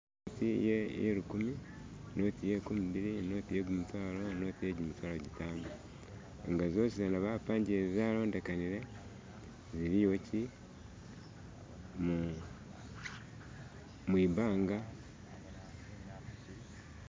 Noti iye lukumi noti Iye nkumibili noti iye gumutwaalo noti iye jimitwalo jitano nga zosi zana bapangile zalondekanile ziliwo chi mwibanga.